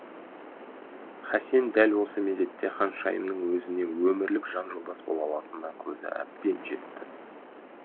хасен дәл осы мезетте ханшайымның өзіне өмірлік жан жолдас бола алатынына көзі әбден жетті